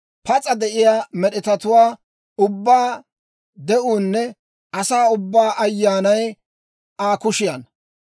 Pas'a de'iyaa med'etatuwaa ubbaa de'uunne asaa ubbaa ayaanay Aa kushiyaanna.